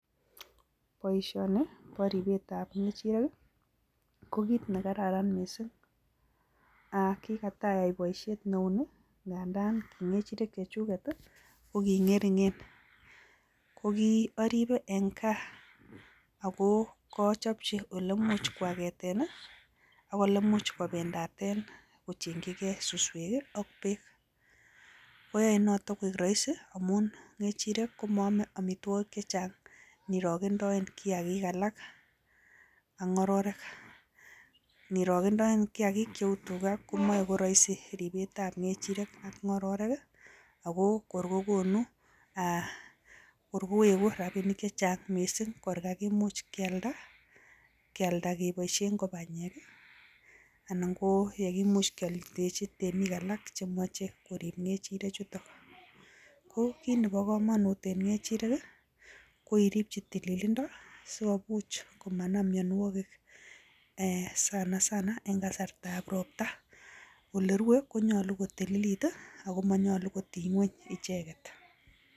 Boishoni ko ribet ab kechirek ko kiit ne kararan mising, kikatai boishani nganda chechuk ko ki ngeringeng ako kiaribe ing gaa ako kiachopchi ole imuuch kobendate ako aket, kechirek ko moome amituogik chechang kou kiagik chechang, ing kealda komuuch kokon rapinik che chang, kiit nebo kamanut ing kechirek ko irip tililindo si manam mionwogik mising eng kasarta ab ropta ole rue ko nyolu ko tililit